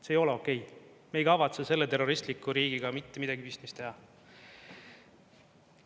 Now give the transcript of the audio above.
See ei ole okei, me ei kavatse selle terroristliku riigiga mitte midagi pistmist teha.